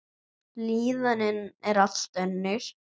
Líðanin er allt önnur.